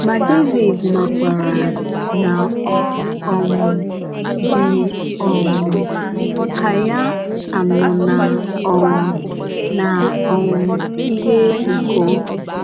Ma Devid makwara na ọ um dị um ka ya anọ n’ um n’ um ihe ụkọ.